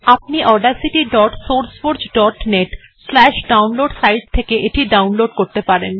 আপনি audacitysourceforgenetডাউনলোড সাইট থেকে ডাউনলোড করতে পারেন